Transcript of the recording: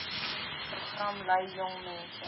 program lei jongmense